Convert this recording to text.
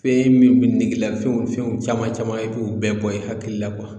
Fɛn min be negela fɛnw fɛnw caman caman ye e be o bɛɛ bɔ i hakili la kuwa